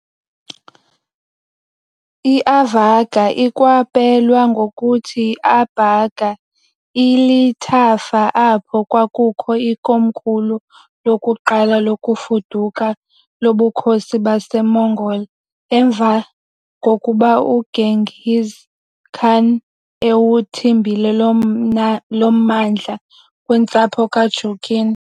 IAvarga, ikwapelwa ngokuthi Abharga, ilithafa apho kwakukho ikomkhulu lokuqala lokufuduka loBukhosi baseMongol emva kokuba uGenghis Khan ewuthimbile lo mmandla kwintsapho kaJurkin.